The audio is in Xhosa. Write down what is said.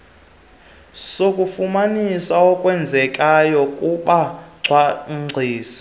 sokufumanisa okwenzekayo kubacwangcisi